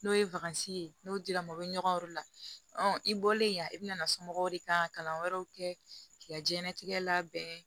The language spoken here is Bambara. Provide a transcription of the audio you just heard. N'o ye ye n'o dira mɔgɔ bɛ ɲɔgɔn kɔrɔ i bɔlen yan i bɛna somɔgɔw de kan ka kalan wɛrɛw kɛ k'i ka jɛnnatigɛ labɛn